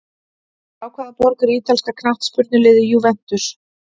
Frá hvaða borg er ítalska knattspyrnuliðið Juventus?